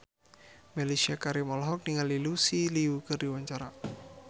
Mellisa Karim olohok ningali Lucy Liu keur diwawancara